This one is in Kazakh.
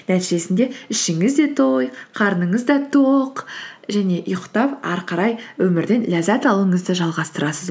нәтижесінде ішіңізде той қарныңыз да тоқ және ұйықтап әрі қарай өмірден ләззат алуыңызды жалғастырасыз